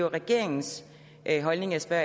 regeringens holdning jeg spørger